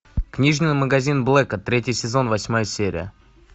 книжный магазин блэка третий сезон восьмая серия